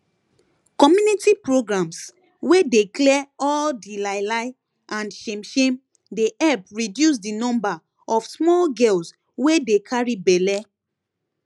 community programs wey dey clear all di lie lie and shame shame dey help reduce di number of small girls wey dey carry belle